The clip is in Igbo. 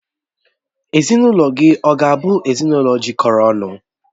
Ezinụlọ gị ọ̀ ga-abụ ezinụlọ jikọrọ ọnụ?